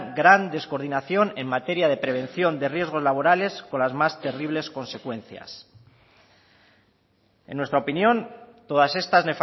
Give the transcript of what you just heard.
gran descoordinación en materia de prevención de riesgos laborales con las más terribles consecuencias en nuestra opinión todas estas